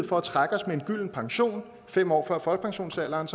for at trække os med en gylden pension fem år før folkepensionsalderen